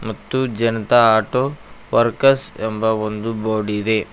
ಮತ್ತು Janata auto workers ಎಂದು board ಇದೆ.